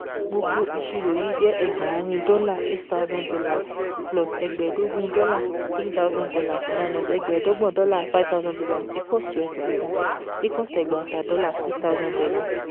Gbogbo ìṣirò yí jẹ́ ẹgbàárìn dọ́là eight thousand dollars plus ẹgbẹ̀ẹ́dógún dọ́là three thousand dollars minus ẹgbẹ̀ẹ́dọ́gbọ̀n dọ́là five thousand dollars equals to ẹgbàáta equals to ẹgbàáta dọ́là six thousand dollars